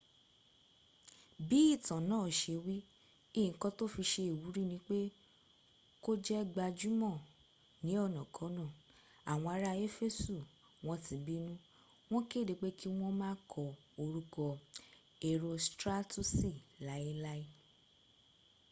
bi itan naa se wi nkan to fi se iwuri nip e ko je gbajumo ni onakona awon ara efesu won ti binu won kede pe ki won ma ko oruko erostratusi lai lai